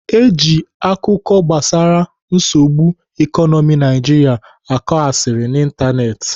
Eji akụkọ gbasara nsogbu ikonomi Nigeria akọ asịrị n'Ịntanetị.